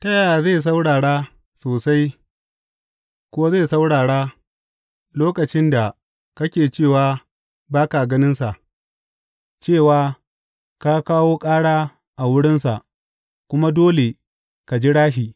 Ta yaya zai saurara sosai ko zai saurara lokacin da kake cewa ba ka ganinsa, cewa ka kawo ƙara a wurinsa kuma dole ka jira shi.